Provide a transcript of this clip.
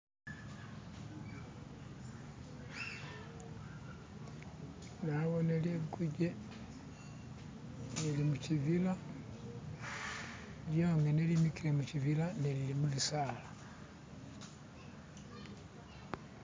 Nabone liguje lili mushibila lyongene limikile mushibila nga lili mubisala.